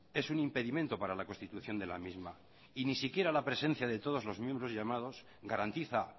es un impedimento para la constitución de la misma y ni siquiera la presencia de todos los miembros llamados garantiza